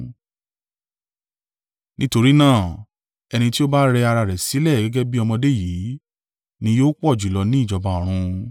Nítorí náà, ẹni tí ó bá rẹ ara rẹ̀ sílẹ̀ gẹ́gẹ́ bí ọmọdé yìí, ni yóò pọ̀ jùlọ ní ìjọba ọ̀run.